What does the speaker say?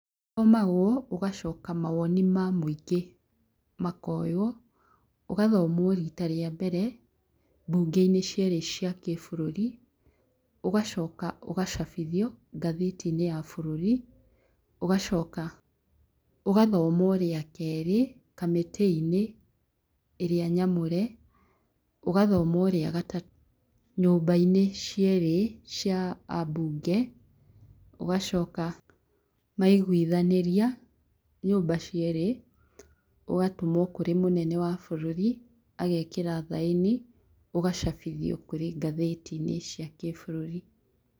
Ũthomagwo ũgacoka mawoni ma mũingĩ makoywo. ũgathomwo rita rĩa mbere mbunge-inĩ cierĩ cia kĩbũrũri, ũgacoka ũgacabithio ngatheti-inĩ ya bũrũri, ũgacoka ũgathomwo rĩa kerĩ kamĩtĩ-inĩ ĩrĩa nyamũre. ũgathomwo rĩagatatũ nyũmbainĩ cierĩ cia ambunge. ũgacoka maiguithanĩria nyũmba cierĩ, ũgatũmwo kũrĩ mũnene wa bũrũri agekĩra thaĩni, ũgacabithio kũrĩ ngathĩti-inĩ cia gĩbũrũri.